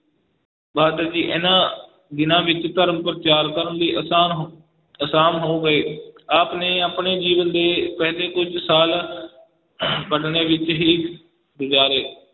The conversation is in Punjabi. ਇਹਨਾਂ ਦਿਨਾਂ ਵਿੱਚ ਧਰਮ ਪ੍ਰਚਾਰ ਕਰਨ ਵੀ ਆਸਾਨ ਹੋ~ ਆਸਾਨ ਹੋ ਗਏ, ਆਪ ਨੇ ਆਪਣੇ ਜੀਵਨ ਦੇ ਪਹਿਲੇ ਕੁੱਝ ਸਾਲ ਪਟਨੇ ਵਿੱਚ ਹੀ ਗੁਜ਼ਾਰੇ।